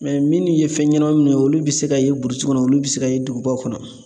minnu ye fɛn ɲɛnamaw minɛ olu bɛ se ka ye burusi kɔnɔ olu bɛ se ka ye dugubaw kɔnɔ